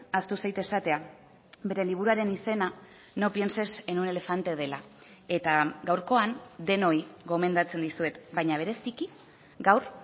ahaztu zait esatea bere liburuaren izena no pienses en un elefante dela eta gaurkoan denoi gomendatzen dizuet baina bereziki gaur